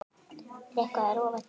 Er eitthvað að rofa til?